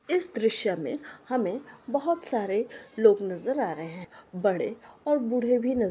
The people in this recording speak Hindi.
इस दृश्य में हमें बहुत सारे लोग नजर आ रहे हैं। बड़े और बूढ़े भी नजर आ रहे हैं।